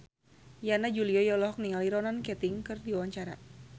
Yana Julio olohok ningali Ronan Keating keur diwawancara